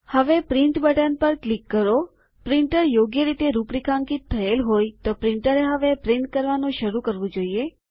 હવે print button પર click કરો પ્રિન્ટર યોગ્ય રીતે રૂપરેખાંકિત થયેલ હોય તો પ્રિન્ટરએ હવે છાપવાનું શરૂ કરવું જોઈએ